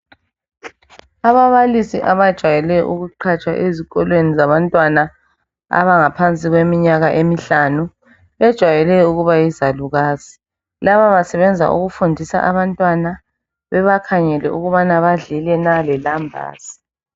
Ababalisi abajwayele ukuqhatshwa ezikolweni zabantwana abangaphansi kweminyaka emihlanu bajwayele ukuba yizalukazi laba basebenza ukufundisa abantwana bebakhangele ukubana badlile na lelambazi.